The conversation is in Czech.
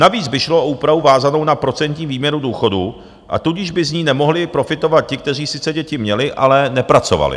Navíc by šlo o úpravu vázanou na procentní výměru důchodů, a tudíž by z ní nemohli profitovat ti, kteří sice děti měli, ale nepracovali.